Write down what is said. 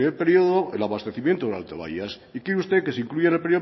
primer periodo el abastecimiento del alto baias y quiere usted que se incluya en el